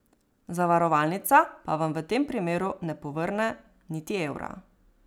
Zavarovalnica pa vam v tem primeru ne povrne niti evra.